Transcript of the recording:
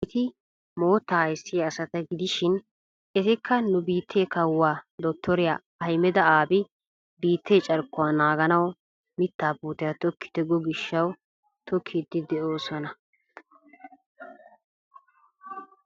Hageeti moottaa ayssiyaa asata gidishin etikka nu biittee kawuwaa dottoriyaa ahimeda abi biittee carkkuwaa nanganawu miittaa puutiyaa tookkite go giishshawu tookkiidi de'oosona.